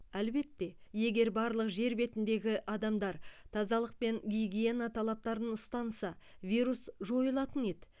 әлбетте егер барлық жер бетіндегі адамдар тазалық пен гигиена талаптарын ұстанса вирус жойылатын еді